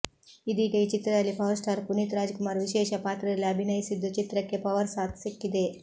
ಇದೀಗ ಈ ಚಿತ್ರದಲ್ಲಿ ಪವರ್ ಸ್ಟಾರ್ ಪುನೀತ್ ರಾಜಕುಮಾರ್ ವಿಶೇಷ ಪಾತ್ರದಲ್ಲಿ ಅಭಿನಯಿಸಿದ್ದು ಚಿತ್ರಕ್ಕೆ ಪವರ್ ಸಾಥ್ ಸಿಕ್ಕಿದೆ